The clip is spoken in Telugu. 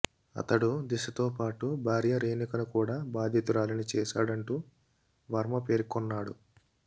అతడు దిశతో పాటు భార్య రేణుకను కూడా బాధితురాలిని చేశాడంటూ వర్మ పేర్కొన్నాడు